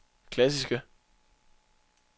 klassiske